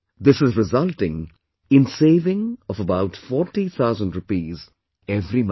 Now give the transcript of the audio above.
This is resulting in saving of about 40, 000 rupees every month